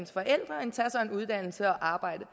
forældre end tage sig en uddannelse og arbejde